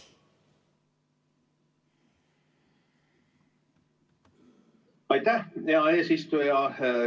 Aitäh, hea eesistuja!